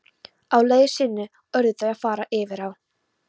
Á leið sinni urðu þau að fara yfir á.